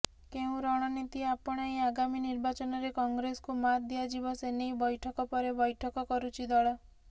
କେଉଁ ରଣନୀତି ଆପଣାଇ ଆଗାମୀ ନିର୍ବାଚନରେ କଂଗ୍ରେସକୁ ମାତ୍ ଦିଆଯିବ ସେନେଇ ବୈଠକ ପରେ ବୈଠକ କରୁଛି ଦଳ